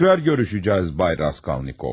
Yenidən görüşəcəyik, cənab Raskolnikov.